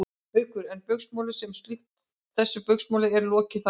Haukur: En Baugsmáli sem slíku, þessu Baugsmáli er lokið þar með?